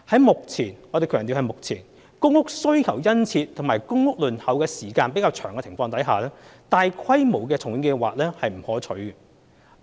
目前——我們強調是目前——公屋需求殷切及公屋輪候時間較長的情況下，大規模的重建計劃並不可取。